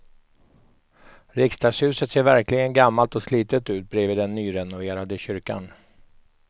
Riksdagshuset ser verkligen gammalt och slitet ut bredvid den nyrenoverade kyrkan.